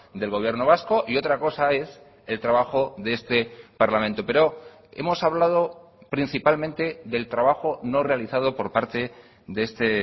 del gobierno vasco y otra cosa es el trabajo de este parlamento pero hemos hablado principalmente del trabajo no realizado por parte de este